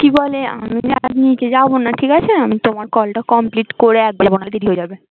কি বলে আমি আমি যাবোনা ঠিক আছে আমি তোমার কল টা complete করে একেবারে হয়ে যাবে